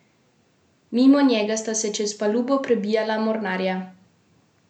Mimo njega sta se čez palubo prebijala mornarja.